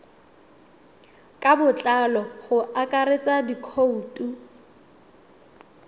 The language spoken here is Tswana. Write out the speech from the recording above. ka botlalo go akaretsa dikhoutu